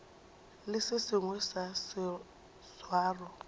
le se sengwe sa seswaro